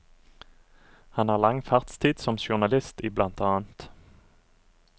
Han har lang fartstid som journalist i bl.